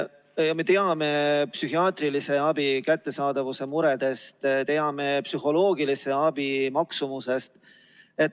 Me teame psühhiaatrilise abi kättesaadavuse muredest, teame psühholoogilise abi maksumusest.